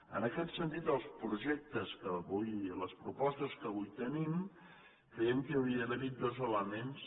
en aquest sentit en els projectes en les propostes que avui tenim creiem que hauria d’haver hi dos elements